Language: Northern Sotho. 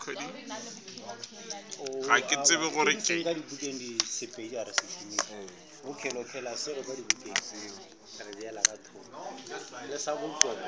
ga ke tsebe gore ke